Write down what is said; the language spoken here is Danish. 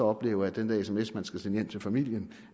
oplever at den der sms man skal sende hjem til familien